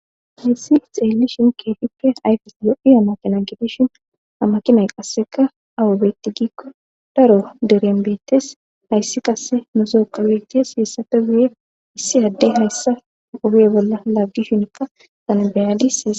Hayssi xeelli shin kefip ayfes yo7i amakina gibishin amakimay qasseka awubetti gikko daro derenbettes hayssi qasse musooka wiide hiessate buye issi adde hayssa obee bolla laggishinka sana beyadis.